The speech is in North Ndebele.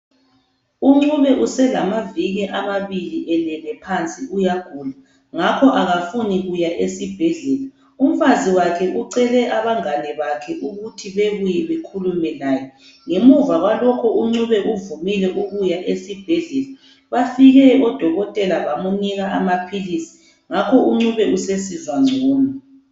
UNcube uselamaviki amabili elele phansi uyagula ngakho akafuni kuya esibhedlela umfazi wakhe ucele abangane bakhe ukuthi bebuye bakhulume laye ngemuva kwalokho uNcube uvumile ukuya esibhedlela ngakho Bafike odokotela bamnika amaphilisi ngakho uNcube usesizwa ngcono.